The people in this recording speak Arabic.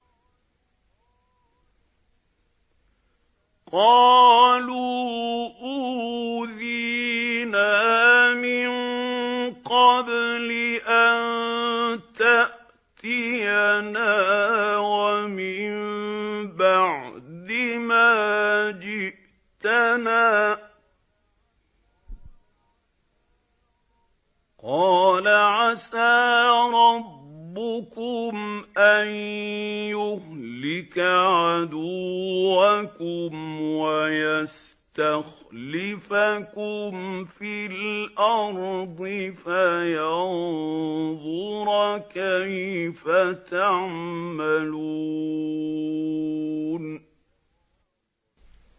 قَالُوا أُوذِينَا مِن قَبْلِ أَن تَأْتِيَنَا وَمِن بَعْدِ مَا جِئْتَنَا ۚ قَالَ عَسَىٰ رَبُّكُمْ أَن يُهْلِكَ عَدُوَّكُمْ وَيَسْتَخْلِفَكُمْ فِي الْأَرْضِ فَيَنظُرَ كَيْفَ تَعْمَلُونَ